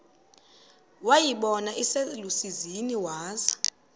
wayibona iselusizini waza